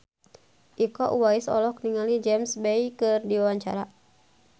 Iko Uwais olohok ningali James Bay keur diwawancara